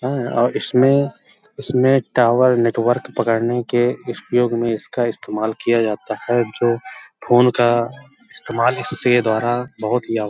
है और इसमें और इसमें टावर नेटवर्क पकड़ने के उपयोग में इसका इस्तेमाल किया जाता है जो फोन का इस्तमाल इससे द्वारा बहोत ही --